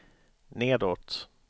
nedåt